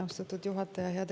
Austatud juhataja!